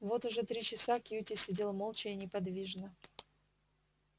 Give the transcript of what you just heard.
вот уже три часа кьюти сидел молча и неподвижно